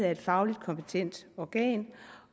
af et fagligt kompetent organ